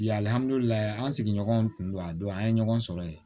an sigiɲɔgɔnw kun don a don an ye ɲɔgɔn sɔrɔ ye